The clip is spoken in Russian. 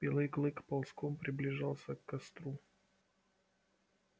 белый клык ползком приближался к костру